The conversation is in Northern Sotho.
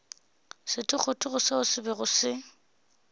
sethogothogo seo se bego se